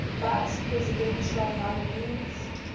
vice presidential nominees